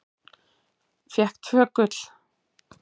Fékk tvö gul.